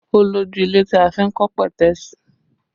Ó lójú ilẹ̀ tí a fi n kọ́ petesi